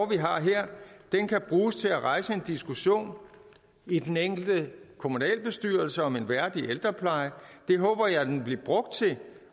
vi har her kan bruges til at rejse en diskussion i den enkelte kommunalbestyrelse om en værdig ældrepleje det håber jeg loven vil blive brugt til